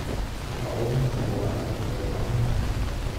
Waxa ugu horreeya waa inaad dhaqdo gacmahaaga.